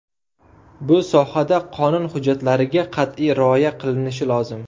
Bu sohada qonun hujjatlariga qat’iy rioya qilinishi lozim.